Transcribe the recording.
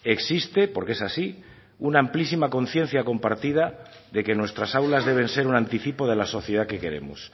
existe porque es así una amplísima conciencia compartida de que nuestras aulas deben ser un anticipo de la sociedad que queremos